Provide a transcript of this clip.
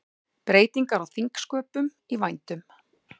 Breytingar á þingsköpum í vændum